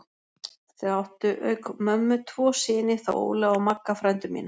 Þau áttu auk mömmu tvo syni, þá Óla og Magga frændur mína.